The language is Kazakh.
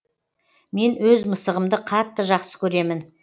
мен өз мысығымды қатты жақсы көремін